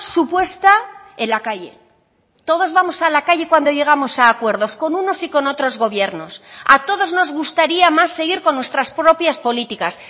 supuesta en la calle todos vamos a la calle cuando llegamos a acuerdos con unos y con otros gobiernos a todos nos gustaría más seguir con nuestras propias políticas